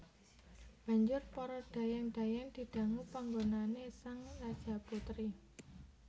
Banjur para dhayang dhayang didangu panggonané sang Rajaputri